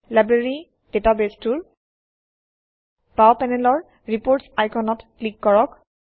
library ডাটাবেছটোৰ বাওঁ পেনেলৰ ৰিপোৰ্টছ আইকনত ক্লিক কৰক